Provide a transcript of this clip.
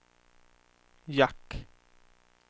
jack